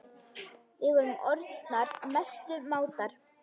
Við vorum orðnar mestu mátar.